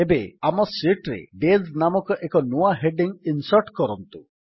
ଏବେ ଆମ ଶୀଟ୍ ରେ ଡେଜ୍ ନାମକ ଏକ ନୂଆ ହେଡିଙ୍ଗ୍ ଇନ୍ସର୍ଟ କରନ୍ତୁ